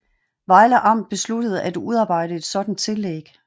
Vejle Amt besluttede at udarbejde et sådant tillæg